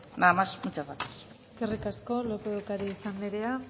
nada más muchas gracias eskerrik asko lópez de ocariz anderea